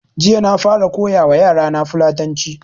Jiya na fara koya wa yara na Fulatanci